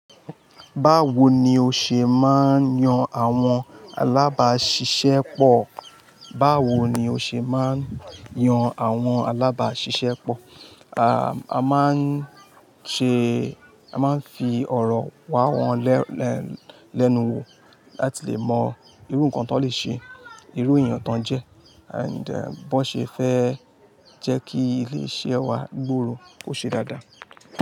Báwo ni o ṣe máa ń yan àwọn alábàáṣiṣẹ́ pọ̀? A máa ń ṣe, a máa ń fi ọ̀rọ̀ wá wọn lẹ́nu wò láti lè mọ irú nǹkan tó lè ṣe, irú èèyàn tán jẹ́, and bí wọ́n ṣe fẹ́ jẹ́ kí ilé iṣẹ́ wa gbòòrò ó ṣe dáadáa.